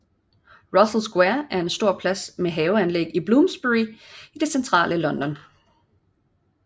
Russell Square er en stor plads med et haveanlæg i Bloomsbury i det centrale London